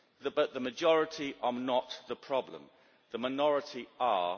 But the majority are not the problem, the minority are